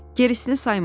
Gerisini sayma.